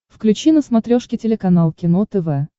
включи на смотрешке телеканал кино тв